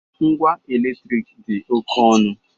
Ngwa eletrik dị oke ọnụ